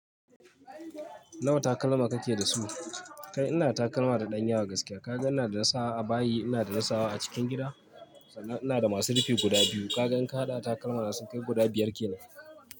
Nawa takalma kake da su? Kai ina da takalma da ɗan yawa gaskiya. Kaga ina da nasawa a bayi, ina da nasawa a cikin gida, sannan ina da masu rufi guda biyu, kaga in ka haɗa takalmana su kai guda biyar kenan.